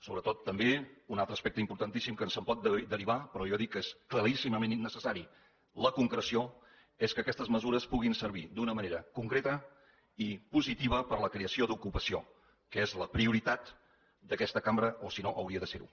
sobretot també un altre aspecte importantíssim que se’n pot derivar però jo dic que és claríssimament i necessària la concreció és que aquestes mesures puguin servir d’una manera concreta i positiva per a la creació d’ocupació que és la prioritat d’aquesta cambra o si no hauria de ser ho